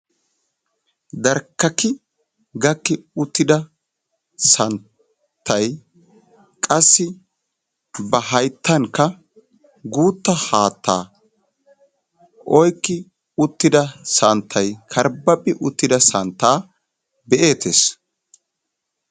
Darkkaki gakki uttida santtay qassi ba hayttankka guutta haattaa oykki uttida santtay karbbabbi uttida santtaa be'ettees.